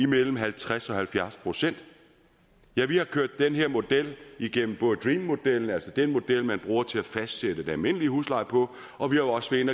mellem halvtreds og halvfjerds procent ja vi har kørt den her model igennem dream modellen altså den model man bruger til at fastsætte den almindelige husleje på og vi har også været